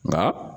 Nka